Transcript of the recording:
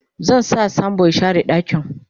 zan sa sambo ya share ɗakin